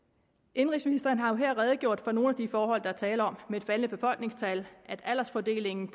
indenrigsministeren har jo her redegjort for nogle af de forhold der er tale om et faldende befolkningstal at aldersfordelingen